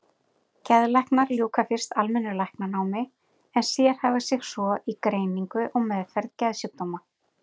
Geðlæknar ljúka fyrst almennu læknanámi en sérhæfa sig svo í greiningu og meðferð geðsjúkdóma.